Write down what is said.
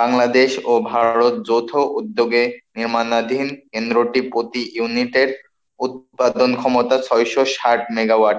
বাংলাদেশ ও ভারত যৌথ উদ্যোগে নির্মানাধীন কেন্দ্রটি প্রতি unit এর উৎপাদন ক্ষমতা ছয়শো ষাট megawatt,